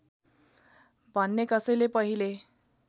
भन्ने कसैले पहिले